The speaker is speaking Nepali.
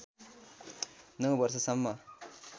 ९ वर्ष सम्म